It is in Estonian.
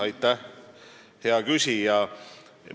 Aitäh, hea küsija!